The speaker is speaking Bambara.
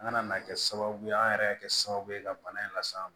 An kana na kɛ sababu ye an yɛrɛ ka kɛ sababu ye ka bana in las'an ma